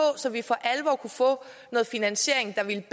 så vi for alvor kunne få noget finansiering der ville